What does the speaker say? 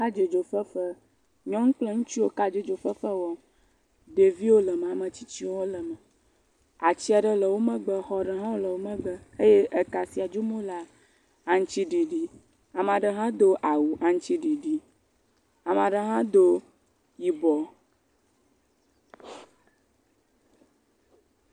Kadzodzofefe, nyɔnuwo kple ŋutsuwo kɔdzodzofefe wɔm. Ɖeviwo le eme ame tsitsiwo hã le eme. Ati aɖe le wo megbe, xɔ aɖe hã le wo megbe eye ka si dzom wole la, aŋutiɖiɖie. Ame aɖe hã do awu aŋutiɖiɖi. Ame aɖe hã do yibɔ.